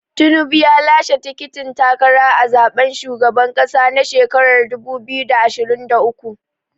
Tinubu ya lashe tikitin takara a zaɓen shugaban ƙasa na shekarar dubu biyu da ashirin da uku.